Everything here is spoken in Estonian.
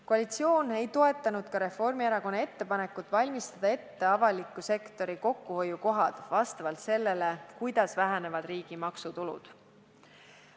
Koalitsioon ei toetanud ka Reformierakonna ettepanekut valmistada ette avaliku sektori kokkuhoiukohad vastavalt sellele, kuidas vähenevad riigi maksutulud.